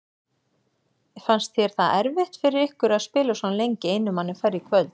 Fannst þér það erfitt fyrir ykkur að spila svona lengi einum manni færri í kvöld?